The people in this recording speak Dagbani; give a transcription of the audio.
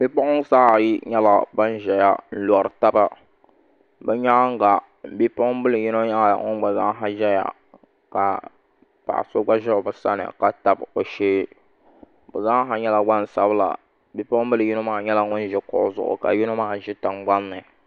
Bipuɣunsi ayi nyɛla ban ʒɛya n lori taba bi nyaanga bipuɣunbili yino nyɛla ŋun gba ʒɛya ka paɣa so gba ʒɛ bi sani ka tabi o shee bi zaaha nyɛla gbansabila bipuɣunbili yino maa nyɛla bin ʒi kuɣu zuɣu ka yino maa ʒi tingbanni